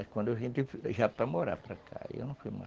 quando eu vim, já para morar para cá, aí eu não fui mais.